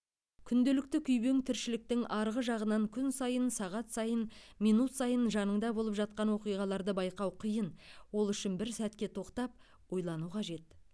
күнделікті күйбең тіршіліктің арғы жағынан күн сайын сағат сайын минут сайын жаныңда болып жатқан оқиғаларды байқау қиын ол үшін бір сәтке тоқтап ойлану қажет